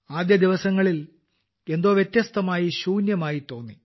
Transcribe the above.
ആദ്യ ദിവസങ്ങളിൽ എന്തോ വ്യത്യസ്തമായി ശൂന്യമായി തോന്നി